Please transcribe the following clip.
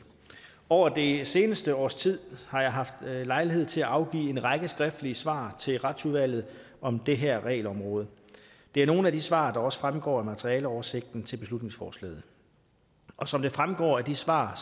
over det seneste års tid har jeg haft lejlighed til at afgive en række skriftlige svar til retsudvalget om det her regelområde det er nogle af de svar der også fremgår af materialeoversigten til beslutningsforslaget og som det fremgår af de svar